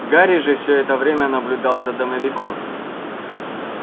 гарри же всё это время наблюдал за домовиком